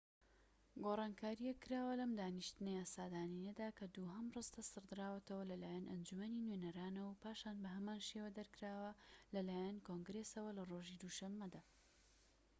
گۆڕانکاریەک کراوە لەم دانیشتنە یاسادانانیەدا کە دووهەم ڕستە سڕدراوەتەوە لەلایەن ئەنجومەنی نوێنەرانەوە و پاشان بە هەمان شێوە دەرکراوە لەلایەن کۆنگرێسەوە لە ڕۆژی دووشەمەدا